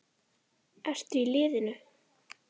Ertu í liðinu?